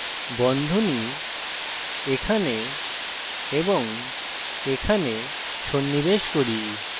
বন্ধনী এখানে এবং এখানে সন্নিবেশ করি